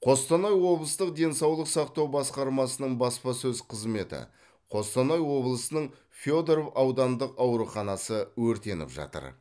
қостанай облыстық денсаулық сақтау басқармасының баспасөз қызметі қостанай облысының федоров аудандық ауруханасы өртеніп жатыр